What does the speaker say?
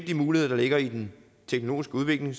de muligheder der ligger i den teknologiske udvikling